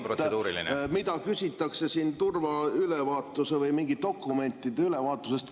… 220 eurot, mida küsitakse turvaülevaatuse või mingite dokumentide ülevaatuse eest.